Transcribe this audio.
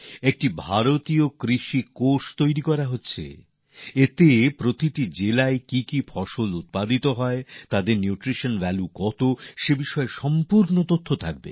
একটি ভারতীয় কৃষি কোষ তৈরি করা হচ্ছে যাতে প্রত্যেক জেলায় কোন কোন ধরণের ফসল হয় সেগুলির পুষ্টি মূল্য কতটা তার সম্পূর্ণ তথ্যাবলি থাকবে